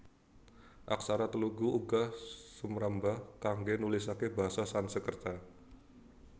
Aksara Telugu uga sumrambah kanggo nulisaké basa Sanskerta